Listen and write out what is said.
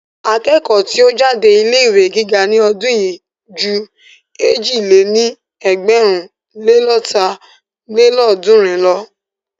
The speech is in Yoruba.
Akẹ́kọ̀ọ́ tí ó jáde ilé ìwé gíga ní ọdún yìí ju èjì lé ní ẹgbẹ̀rún le lọ́ta lélọ́ọ̀dúnrún lọ.